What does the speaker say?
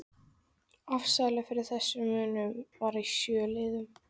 Afsalið fyrir þessum munum var í sjö liðum